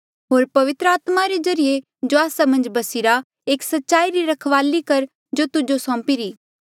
होर पवित्र आत्मा रे ज्रीए जो आस्सा मन्झ बस्सिरा एस सच्चाई री रखवाली कर जो तुजो सौंपी री